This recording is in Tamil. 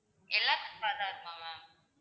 எல்லாத்துக்கும் ஆதார் மா ma'am